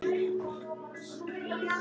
Nei sko!